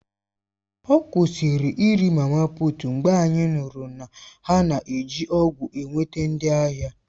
Ọ kwụsịrị iri mama puut mgbe anyị nụrụ na ha na-eji ọgwụ na-enweta ndị ahịa.